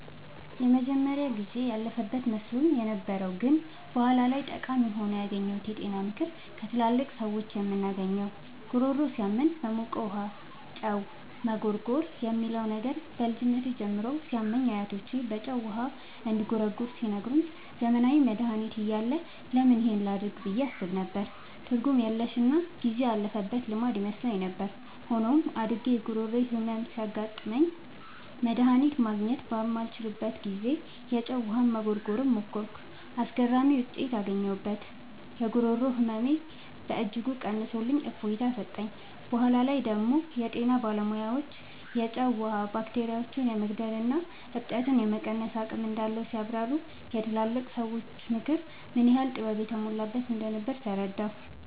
የመጀመሪያው ጊዜ ያለፈበት መስሎኝ የነበረው ግን በኋላ ላይ ጠቃሚ ሆኖ ያገኘሁት የጤና ምክር ከትላልቅ ሰዎች የምናገኘው "ጉሮሮ ሲያመን በሞቀ ጨው ውሃ መጉርጎር" የሚለው ነበር። በልጅነቴ ጉሮሮዬ ሲያመኝ አያቶቼ በጨው ውሃ እንድጉርጎር ሲነግሩኝ፣ ዘመናዊ መድሃኒት እያለ ለምን ይህን ላደርግ ብዬ አስብ ነበር። ትርጉም የለሽና ጊዜ ያለፈበት ልማድ ይመስለኝ ነበር። ሆኖም፣ አድጌ የጉሮሮ ህመም ሲያጋጥመኝና መድሃኒት ማግኘት ባልችልበት ጊዜ፣ የጨው ውሃ መጉርጎርን ሞከርኩ። አስገራሚ ውጤት አገኘሁ! የጉሮሮ ህመሜን በእጅጉ ቀንሶልኝ እፎይታ ሰጠኝ። በኋላ ላይ ደግሞ የጤና ባለሙያዎች የጨው ውሃ ባክቴሪያዎችን የመግደልና እብጠትን የመቀነስ አቅም እንዳለው ሲያብራሩ፣ የትላልቅ ሰዎች ምክር ምን ያህል ጥበብ የተሞላበት እንደነበር ተረዳሁ።